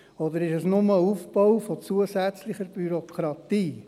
Oder ist es nur der Aufbau von zusätzlicher Bürokratie?